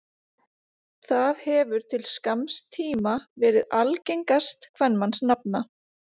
það hefur til skamms tíma verið algengast kvenmannsnafna